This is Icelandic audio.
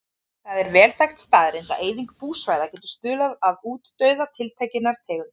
Það er vel þekkt staðreynd að eyðing búsvæða getur stuðlað að útdauða tiltekinnar tegundar.